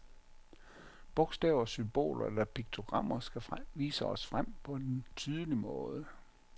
Bogstaver, symboler eller piktogrammer skal vise os frem på en tydelig måde.